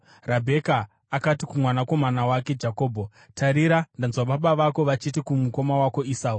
Rabheka akati kumwanakomana wake Jakobho, “Tarira, ndanzwa baba vako vachiti kumukoma wako Esau,